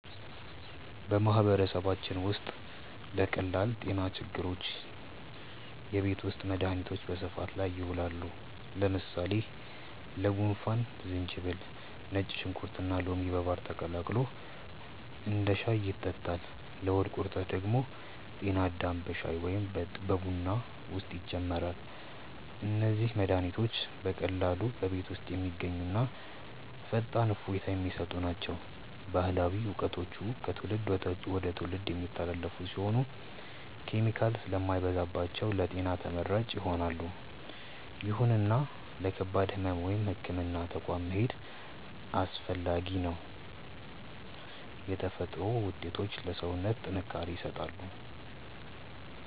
በማህበረሰባችን ውስጥ ለቀላል ጤና ችግሮች የቤት ውስጥ መድሃኒቶች በስፋት ጥቅም ላይ ይውላሉ። ለምሳሌ ለጉንፋን ዝንጅብል፣ ነጭ ሽንኩርትና ሎሚ በማር ተቀላቅሎ እንደ ሻይ ይጠጣል። ለሆድ ቁርጠት ደግሞ ጤና አዳም በሻይ ወይም በቡና ውስጥ ይጨመራል። እነዚህ መድሃኒቶች በቀላሉ በቤት ውስጥ የሚገኙና ፈጣን እፎይታ የሚሰጡ ናቸው። ባህላዊ እውቀቶቹ ከትውልድ ወደ ትውልድ የሚተላለፉ ሲሆኑ፣ ኬሚካል ስለማይበዛባቸው ለጤና ተመራጭ ይሆናሉ። ይሁንና ለከባድ ህመም ወደ ህክምና ተቋም መሄድ አስፈላጊ ነው። የተፈጥሮ ውጤቶች ለሰውነት ጥንካሬ ይሰጣሉ።